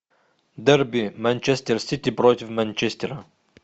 дерби манчестер сити против манчестера